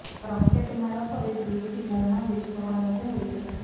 rocket ମାଡ଼ ପରେ ଦୁଇଟି ବୋମା ବିସ୍ପୋରଣ ମଧ୍ୟ ହୋଇଥିଲା